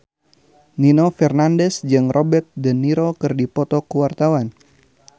Nino Fernandez jeung Robert de Niro keur dipoto ku wartawan